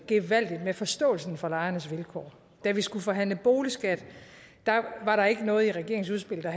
gevaldigt med forståelsen for lejernes vilkår da vi skulle forhandle boligskat var der ikke noget i regeringens udspil der